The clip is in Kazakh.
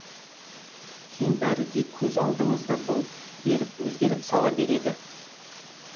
кейін бәрі де көз алдыңызда бұлт беріп өзгеріп сала береді